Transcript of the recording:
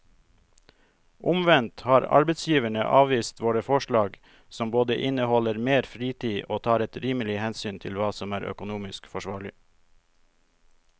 Omvendt har arbeidsgiverne avvist våre forslag som både inneholder mer fritid og tar et rimelig hensyn til hva som er økonomisk forsvarlig.